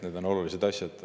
Need on olulised asjad.